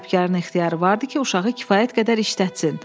Sahibkarın ixtiyarı var idi ki, uşağı kifayət qədər işlətsin.